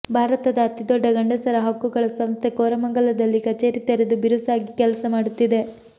ಭಾರತದ ಅತಿ ದೊಡ್ಡ ಗಂಡಸರ ಹಕ್ಕುಗಳ ಸಂಸ್ಥೆ ಕೋರಮಂಗಲದಲ್ಲಿ ಕಚೇರಿ ತೆರೆದು ಬಿರುಸಾಗಿ ಕೆಲಸ ಮಾಡುತ್ತಿದೆ